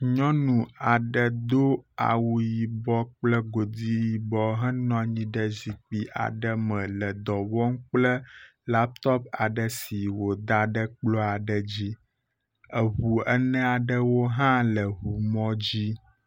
Nyɔnu aɖe dó awu yibɔ kple godi yibɔ henɔ anyi ɖe zikpi aɖe me le dɔwɔm kple laptop aɖe si wòdaɖe kplɔ aɖe dzi eʋu eneaɖewo hã le ʋumɔdzi